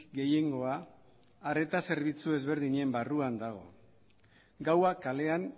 gehiengoa arreta zerbitzu ezberdinen barruan dago gaua kalean